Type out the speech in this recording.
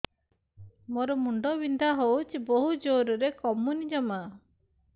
ମୋର ମୁଣ୍ଡ ବିନ୍ଧା ହଉଛି ବହୁତ ଜୋରରେ କମୁନି ଜମା